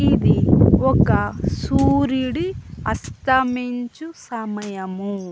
ఇది ఒక్క సూర్యుడి అస్తమించు సమయము.